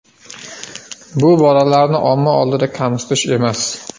Bu bolalarni omma oldida kamsitish emas.